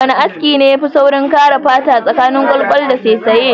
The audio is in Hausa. Wana aski ne yafi kare fata tsakanin kwalkwal da saisaye?